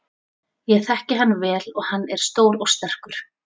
Ég þekki hann vel og hann er stór og sterkur.